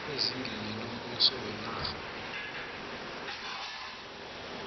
ezingeni lombuso wenarha